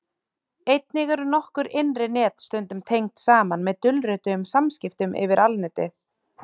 Einnig eru nokkur innri net stundum tengd saman með dulrituðum samskiptum yfir Alnetið.